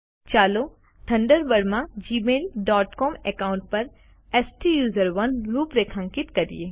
ચાલો થન્ડરબર્ડ માં Gmail dot com account પર સ્ટુસરોને રૂપરેખાંકિત કરીએ